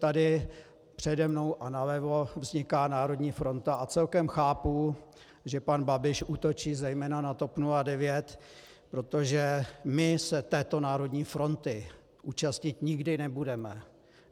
Tady přede mnou a nalevo vzniká národní fronta a celkem chápu, že pan Babiš útočí zejména na TOP 09, protože my se této národní fronty účastnit nikdy nebudeme.